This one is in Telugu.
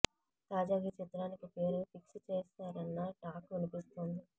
తాజాగా ఈ చిత్రానికి పేరు ఫిక్స్ చేశారన్న టాక్ వినిపిస్తోంది